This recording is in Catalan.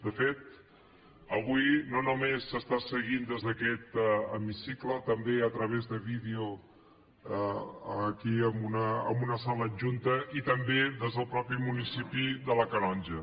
de fet avui no només s’està seguint des d’aquest hemicicle també a través de vídeo aquí en una sala adjunta i també des del mateix municipi de la canonja